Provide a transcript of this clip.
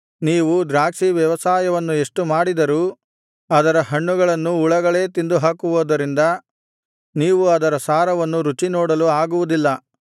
ನೀವು ದ್ರಾಕ್ಷಿ ವ್ಯವಸಾಯವನ್ನು ಎಷ್ಟು ಮಾಡಿದರೂ ಅದರ ಹಣ್ಣುಗಳನ್ನು ಹುಳಗಳೇ ತಿಂದುಹಾಕುವುದರಿಂದ ನೀವು ಅದರ ಸಾರವನ್ನು ರುಚಿನೋಡಲು ಆಗುವುದಿಲ್ಲ